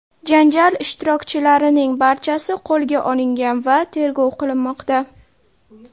Janjal ishtirokchilarining barchasi qo‘lga olingan va tergov qilinmoqda.